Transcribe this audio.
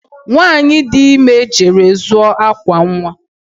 Nwanyị dị ime jere zụọ akwa nwa